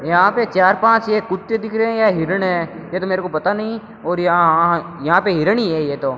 यहां पे चार पांच ये कुत्ते दिख रहे हैं या हिरण हैं यह तो मेरे को पता नहीं और यहां हां यहां पे हिरण ही हैं ये तो।